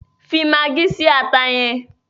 Fi magí si ata yẹn!